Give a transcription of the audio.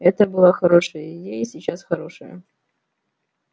это была хорошая идея которая и сейчас хорошая